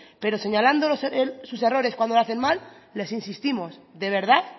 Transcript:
pero señalando sus errores cuando lo hacen mal les insistimos de verdad